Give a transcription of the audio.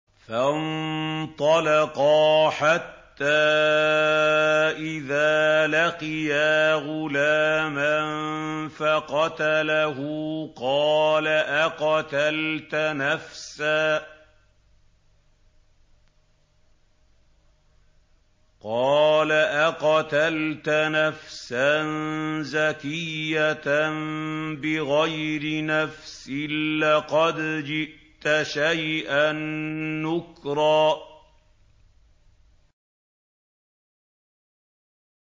فَانطَلَقَا حَتَّىٰ إِذَا لَقِيَا غُلَامًا فَقَتَلَهُ قَالَ أَقَتَلْتَ نَفْسًا زَكِيَّةً بِغَيْرِ نَفْسٍ لَّقَدْ جِئْتَ شَيْئًا نُّكْرًا